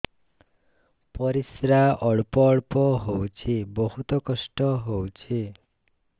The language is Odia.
ପରିଶ୍ରା ଅଳ୍ପ ଅଳ୍ପ ହଉଚି ବହୁତ କଷ୍ଟ ହଉଚି